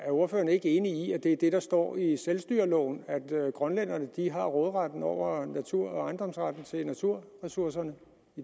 ordføreren ikke enig i at det er det der står i selvstyreloven altså at grønlænderne har råderetten over naturen og ejendomsretten til naturressourcerne